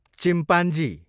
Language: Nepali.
चिम्पान्जी